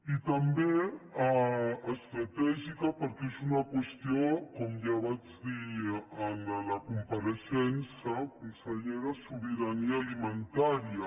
i també estratègica perquè és una qüestió com ja vaig dir en la compareixença del conseller de sobirania alimentària